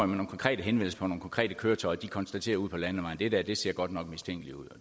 nogle konkrete henvendelser konkrete køretøjer for de konstaterer ude på landevejene at det der ser godt nok mistænkeligt ud